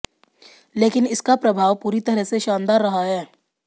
लेकिन इसका प्रभाव पूरी तरह से शानदार रहा है